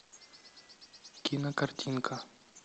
кинокартинка